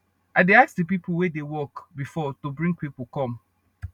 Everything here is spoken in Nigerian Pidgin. i dey ask de pipo wey dey work before to bring pipo come